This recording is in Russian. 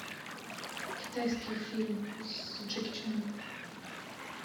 китайский фильм с джеки чаном